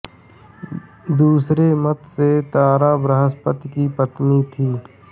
दूसरे मत से तारा बृहस्पति की पत्नी थी